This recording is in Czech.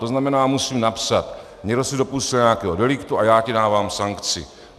To znamená, musím napsat: někdo se dopustil nějakého deliktu a já ti dávám sankci.